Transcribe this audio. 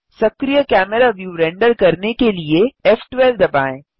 सक्रिय camera view render करने के लिए फ़12 दबाएँ